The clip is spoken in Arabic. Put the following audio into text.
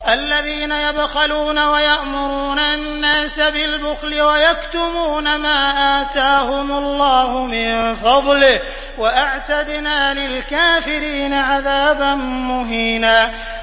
الَّذِينَ يَبْخَلُونَ وَيَأْمُرُونَ النَّاسَ بِالْبُخْلِ وَيَكْتُمُونَ مَا آتَاهُمُ اللَّهُ مِن فَضْلِهِ ۗ وَأَعْتَدْنَا لِلْكَافِرِينَ عَذَابًا مُّهِينًا